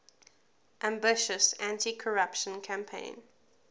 ambitious anticorruption campaign